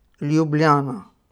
Ljubljana.